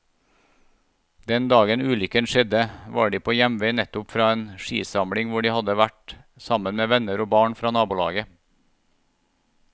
Den dagen ulykken skjedde, var de på hjemvei nettopp fra en skisamling hvor de hadde vært sammen med venner og barn fra nabolaget.